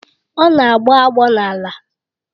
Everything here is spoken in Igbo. Ọ na-agbọ agbọ n'ala